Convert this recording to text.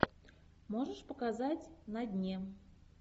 можешь показать на дне